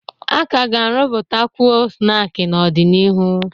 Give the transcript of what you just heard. A ka ga-arụpụta ọtuo snaakị n'ọdịnihu.